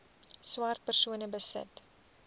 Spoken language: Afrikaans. swart persone besit